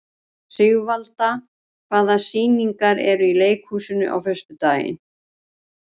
Sigvalda, hvaða sýningar eru í leikhúsinu á föstudaginn?